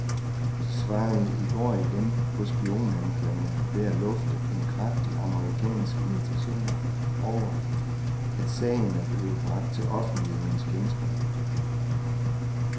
De svarede i går igen på spionanklagerne ved at lufte en kraftig amerikansk irritation over, at sagen er blevet bragt til offentlighedens kendskab.